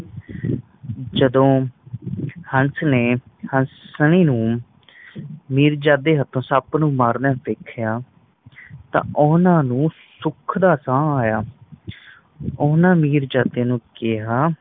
ਜਦੋ ਹੰਸ ਨੇ ਹਸਣੀ ਨੂੰ ਮੀਰਜਦਾ ਦੇ ਹਤੋ ਮਾਰਦੇ ਦੇਖਿਆ ਤਾ ਉਹਨਾਂ ਨੂੰ ਸੁੱਖ ਦਾ ਸਾਹ ਆਇਆ ਓਹਨਾ ਨੇ ਮੀਰਜਦਾ ਨੂੰ ਕਿਹਾ